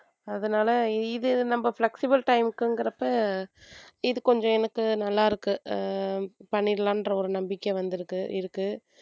அதனால இது நம்ம flexible time க்குங்குறப்ப இது கொஞ்சம் எனக்கு நல்லா இருக்கு அஹ் பண்ணிடலாம்ற ஒரு நம்பிக்கை வந்திருக்கு இருக்கு.